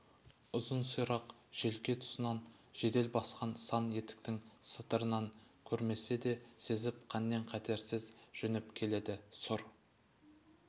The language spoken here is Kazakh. ұзын сирақ желке тұсынан жедел басқан сан етіктің сатырын көрмесе де сезіп қаннен-қаперсіз жөнеп келеді сұр